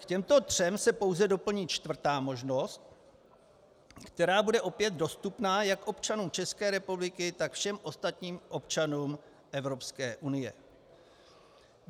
K těmto třem se pouze doplní čtvrtá možnost, která bude opět dostupná jak občanům České republiky, tak všem ostatním občanům Evropské unie.